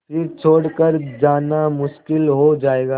फिर छोड़ कर जाना मुश्किल हो जाएगा